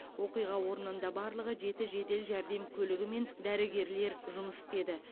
оқиға орнында барлығы жеті жедел жәрдем көлігімен дәрігерлер жұмыс істеді